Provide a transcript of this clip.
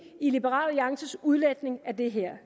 i liberal alliances udlægning af det her